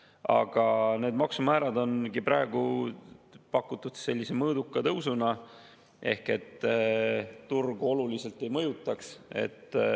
Aga nendele maksumääradele on praegu pakutud mõõdukat tõusu ehk turgu see oluliselt ei mõjutaks.